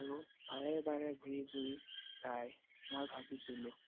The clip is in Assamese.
আৰু বাৰে বাৰে ঘূৰি ঘূৰি চায়। মই ভাবিছিলো